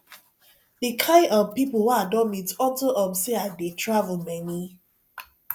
the kin um people wey i don meet unto um say i dey travel many